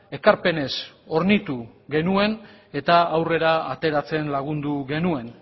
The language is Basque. ekarpenez hornitu genuen eta aurrera ateratzen lagundu genuen